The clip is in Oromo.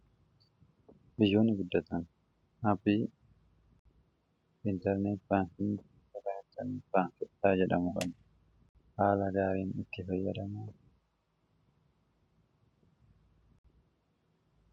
biyyoon guddatan habbii iintarneet baankiin iraitan baankirtaa jedhamu kan haala gaariin itti fayyadaman